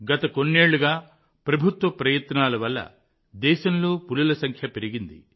గత కొన్నేళ్లుగా ప్రభుత్వ ప్రయత్నాల వల్ల దేశంలో పులుల సంఖ్య పెరిగింది